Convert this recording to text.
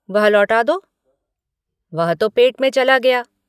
वह लौटा दो। वह तो पेट में चला गया।